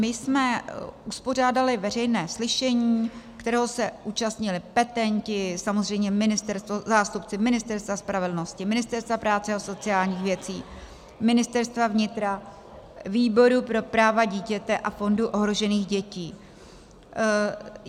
My jsme uspořádali veřejné slyšení, kterého se účastnili petenti, samozřejmě zástupci Ministerstva spravedlnosti, Ministerstva práce a sociálních věcí, Ministerstva vnitra, Výboru pro práva dítěte a Fondu ohrožených dětí.